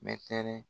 Mɛtɛrɛ